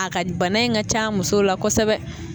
A ka bana in ka ca musow la kosɛbɛ.